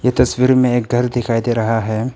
इस तस्वीर में एक घर दिखाई दे रहा है।